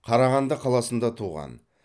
қарағанды қаласында туған